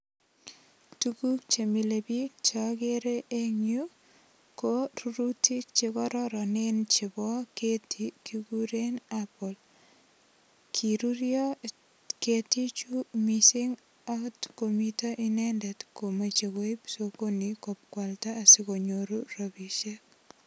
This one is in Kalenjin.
Tuguk che mile biik chogere eng yu ko rurutik che kororonen chebo keti kigiren apple. Kirurio ketichu mising oot komiten inendet komoche koip sogoni kobokwalda asikonyoru rapisiek.